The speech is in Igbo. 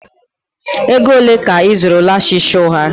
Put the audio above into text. Ego ole ka ị zụrụ lashes ụgha?